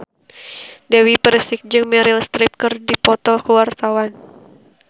Dewi Persik jeung Meryl Streep keur dipoto ku wartawan